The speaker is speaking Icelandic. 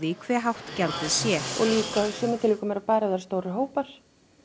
hve hátt gjaldið sé og líka í sumum tilvikum er það bara ef það eru stórir hópar